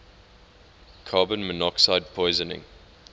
carbon monoxide poisoning